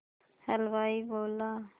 हलवाई बोला